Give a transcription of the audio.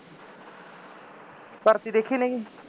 ਭਰਤੀ ਦੇਖੀ ਨਹੀਂ ਗੀ